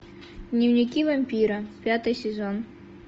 дневники вампира пятый сезон